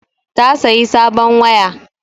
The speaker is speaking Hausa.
Ta sayi sabon waya